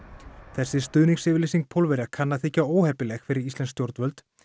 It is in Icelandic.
þessi stuðningsyfirlýsing Pólverja kann að þykja óheppileg fyrir íslensk stjórnvöld